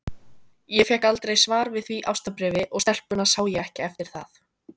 Ég fékk aldrei svar við því ástarbréfi, og stelpuna sá ég ekki eftir það.